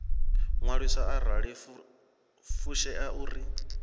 ṅwaliswa arali yo fushea uri